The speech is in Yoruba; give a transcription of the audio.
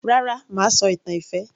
Rárá mà á sọ ìtàn ìfẹ́